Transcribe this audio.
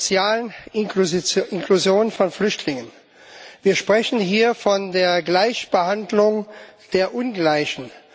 Von der sozialen Inklusion von Flüchtlingen, wir sprechen hier von der Gleichbehandlung der Ungleichen.